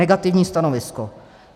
Negativní stanovisko.